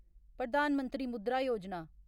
Pradhan Mantri Mudra Yojana